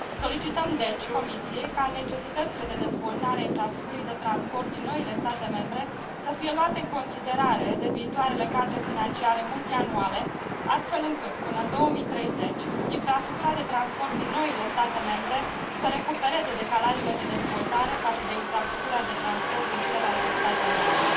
Solicităm, deci, Comisiei ca necesitățile de dezvoltare a infrastructurii de transport din noile state membre să fie luate în considerare de viitoarele cadre financiare multianuale, astfel încât până în 2030 infrastructura de transport din noile state membre să recupereze decalajele de dezvoltare față de infrastructura de transport din celelalte state membre.